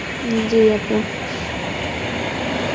উম জী আপু